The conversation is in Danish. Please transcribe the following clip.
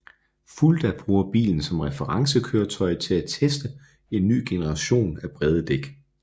Fulda bruger bilen som referencekøretøj til at teste en ny generation af brede dæk